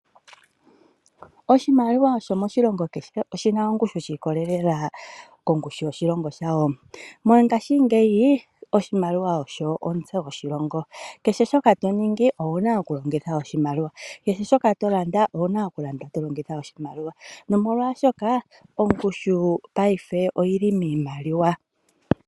Oshimaliwa shomoshilongo kehe oshi na ongushu shi ikolela kongushu yooshilongo shawo. Mongashingeyi oshimaliwa osho omutse goshilongo. Kehe shoka to ningi owu na okulongitha oshimaliwa. Kehe shoka to landa owu na okulanda to longitha oshimaliwa nomolwashoka ongushu paife oyi li miimaliwa.